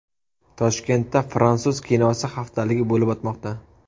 Toshkentda fransuz kinosi haftaligi bo‘lib o‘tmoqda.